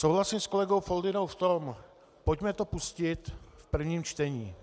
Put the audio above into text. Souhlasím s kolegou Foldynou v tom - pojďme to pustit v prvním čtení.